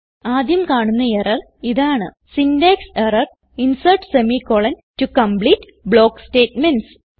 ആദ്യം കാണുന്ന എറർ ഇതാണ് syntax error insert semi colon to complete block statements